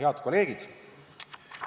Head kolleegid!